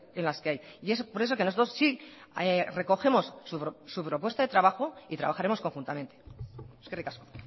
en las que hay y es por eso que nosotros sí recogemos su propuesta de trabajo y trabajaremos conjuntamente eskerrik asko